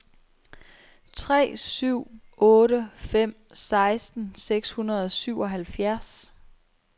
tre syv otte fem seksten seks hundrede og syvoghalvfjerds